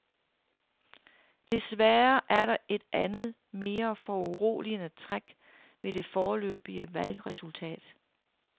Desværre er der et andet, mere foruroligende træk ved det foreløbige valgresultat.